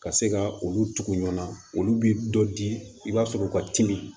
Ka se ka olu tugu ɲɔɔn olu bi dɔ di i b'a sɔrɔ u ka timi